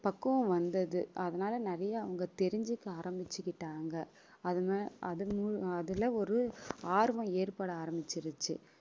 பக்குவம் வந்தது அதனால நிறைய அவங்க தெரிஞ்சுக்க ஆரம்பிச்சுக்கிட்டாங்க அதுல ஒரு ஆர்வம் ஏற்பட ஆரம்பிச்சிருச்சு